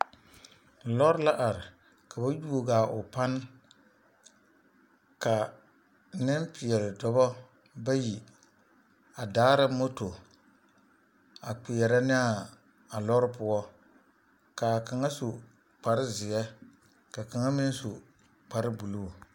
Lɔre la are ka ba yuo a o pane ka nempeɛle dɔbɔ bayi a daara moto a kpeɛrɛ ne a lɔre poɔ k'a kaŋa su kpare zeɛ ka kaŋa meŋ su kpare buluu.